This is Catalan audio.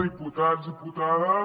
diputats diputades